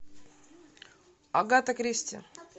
агата кристи